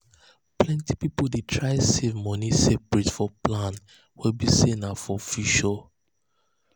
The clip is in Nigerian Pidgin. plenty um people dey try save money separate for plans wey be say na for um future